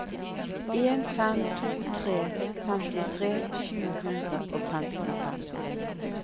en fem to tre femtitre sju hundre og femtifem